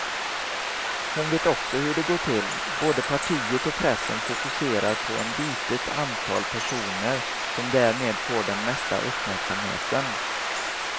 Hon vet också hur det går till, både partiet och pressen fokuserar på en litet antal personer som därmed får den mesta uppmärksamheten.